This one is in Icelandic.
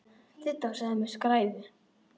Didda sagði mig skræfu.